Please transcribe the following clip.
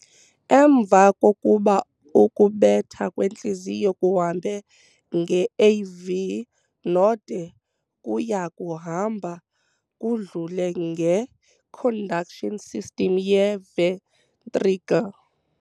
Emva kokuba ukubetha kwentliziyo kuhambe nge-AV Node, kuyakuhamba kudlule nge-"conduction system" ye-ventricle.